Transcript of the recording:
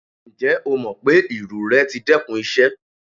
Njẹ o mọ pe iru rẹ ti dẹkun iṣẹ?